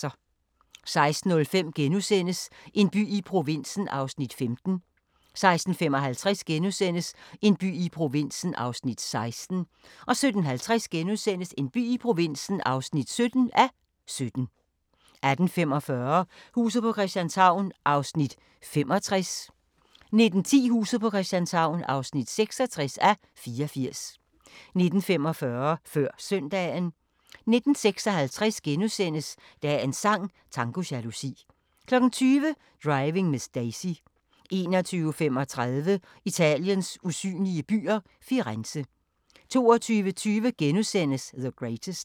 16:05: En by i provinsen (15:17)* 16:55: En by i provinsen (16:17)* 17:50: En by i provinsen (17:17)* 18:45: Huset på Christianshavn (65:84) 19:10: Huset på Christianshavn (66:84) 19:45: Før Søndagen 19:56: Dagens sang: Tango jalousi * 20:00: Driving Miss Daisy 21:35: Italiens usynlige byer – Firenze 22:20: The Greatest *